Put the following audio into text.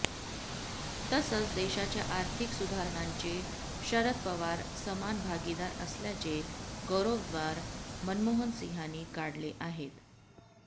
तसंच देशाच्या आर्थिक सुधारणांचे शरद पवार समान भागीदार असल्याचे गौरवोद्वार मनमोहन सिंहांनी काढले आहेत